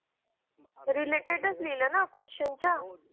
related च लिहिला ना question च्या